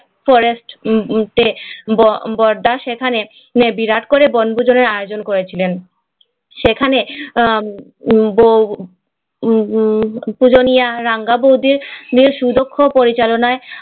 forest Barada সেখানে বিরাট করে বনভোজনের আয়োজন করেছিলেন সেখানে পূজনীয় রাঙ্গা বৌদি সুদক্ষ পরিচালনায়